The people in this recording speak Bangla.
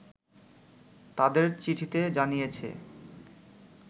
তাদের চিঠিতে জানিয়েছে